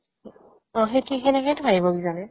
অ, সেত্কি সেনেকেটো বাঢ়িব কিজানি